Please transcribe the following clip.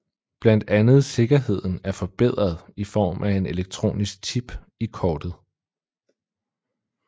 Blandt andet sikkerheden er forbedret i form af en elektronisk chip i kortet